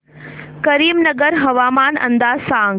करीमनगर हवामान अंदाज सांग